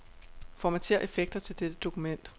Formatér effekter til dette dokument.